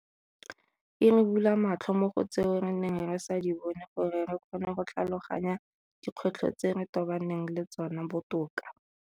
E re bula matlho mo go tseo re neng re sa di bone gore re kgone go tlhaloganya dikgwetlho tse re tobaneng le tsona botoka.